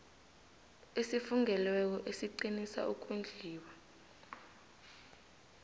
esifungelweko esiqinisa ukondliwa